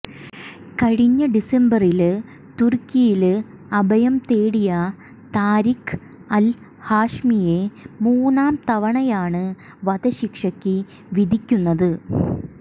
കഴിഞ്ഞ ഡിസംബറില് തുര്ക്കിയില് അഭയം തേടിയ താരിക്ക് അല് ഹാഷ്മിയെ മൂന്നാം തവണയാണ് വധശിക്ഷയ്ക്ക് വിധിക്കുന്നത്